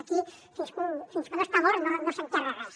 aquí fins que no s’està mort no s’enterra res